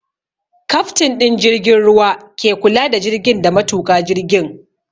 Kaftin ɗin jirgin ruwa ke kula da jirgin da matuƙa jirgin